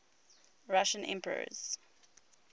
russian emperors